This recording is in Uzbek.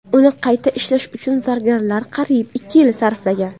Uni qayta ishlash uchun zargarlar qariyb ikki yil sarflagan.